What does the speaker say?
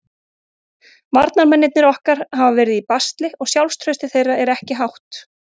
Varnarmennirnir okkar hafa verið í basli og sjálfstraustið þeirra er ekki hátt.